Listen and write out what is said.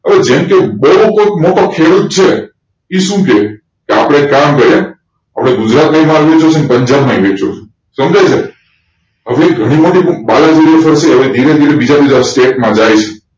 હવે જેમ કે બોઉ કોઈક મોટો ખેડૂત છે ઈ સુ કેયી કે આપડે કામ કરીયે આપડે ગુજરાત મૈં વેચવુ છે અને પંજાબ માં પણ વેચવું છે સમ્જાયુને હવે ઘણી બધી હવે ધીરે ધીરે બીજા બધા state માં જાય છે